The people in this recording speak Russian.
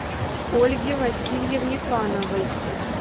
ольге васильевне пановой